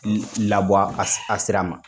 Labɔ a sira ma.